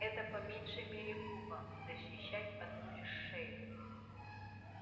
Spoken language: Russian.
это по меньшей мере глупо защищать одну лишь шею